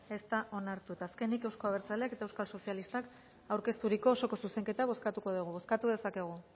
ez da onartu eta azkenik euzko abertzaleek eta euskal sozialistak aurkeztutako osoko zuzenketa bozkatuko dugu bozkatu dezakegu